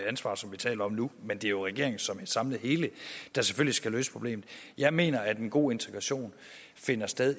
ansvar som vi taler om nu men det er jo regeringen som et samlet hele der selvfølgelig skal løse problemet jeg mener at en god integration finder sted